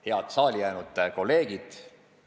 Head saali jäänud kolleegid!